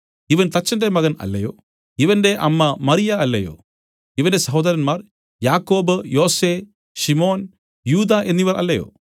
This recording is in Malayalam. ഇവൻ തച്ചന്റെ മകൻ അല്ലയോ ഇവന്റെ അമ്മ മറിയ അല്ലയോ ഇവന്റെ സഹോദരന്മാർ യാക്കോബ് യോസെ ശിമോൻ യൂദാ എന്നവർ അല്ലയോ